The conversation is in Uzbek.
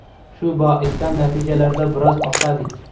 Shu boisdan, natijalarda biroz oqsadik.